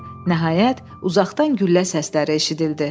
Nəhayət, uzaqdan güllə səsləri eşidildi.